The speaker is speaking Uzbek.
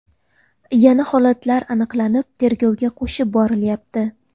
Yana holatlar aniqlanib, tergovga qo‘shib borilyapti.